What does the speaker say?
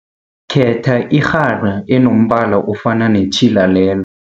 Khetha irhara enombala ofana netjhila lel